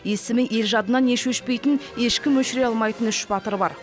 есімі ел жадынан еш өшпейтін ешкім өшіре алмайтын үш батыр бар